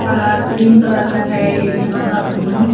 colour green colour का हैं ये यहाँ का रूम --